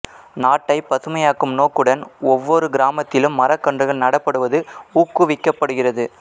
நாட்டை பசுமையாக்கும் நோக்குடன் ஒவ்வோரு கிராமத்திலும் மரக்கன்றுகள் நடப்படுவது ஊக்குவிக்கப்படுகிறது